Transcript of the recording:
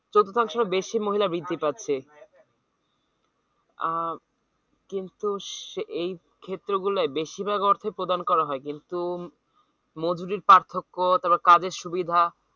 চতুথাংশের বেশি মহিলা বৃদ্ধি পাচ্ছে আহ কিন্তু স~ এই ক্ষেত্রগুলোয় বেশিরভাগ অর্থই প্রদান করা হয় কিন্তু উম মজুরির পার্থক্য তারপর কাজের সুবিধা